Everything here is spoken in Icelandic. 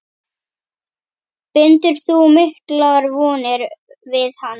Bindur þú miklar vonir við hann?